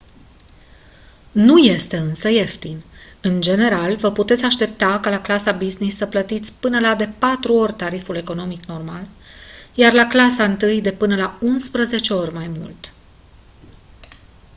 nu este însă ieftin în general vă puteți aștepta ca la clasa business să plătiți de până la patru ori tariful economic normal iar la clasa întâi de până la unsprezece ori mai mult